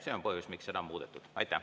See on põhjus, miks seda sai muudetud.